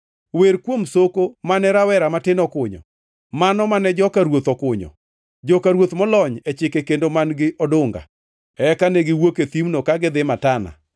wer kuom soko mane rawera matin okunyo, mano mane joka ruoth okunyo; joka ruoth molony e chike kendo man-gi odunga.” Eka negiwuok e thimno ka gidhi Matana,